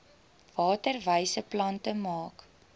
waterwyse plante maak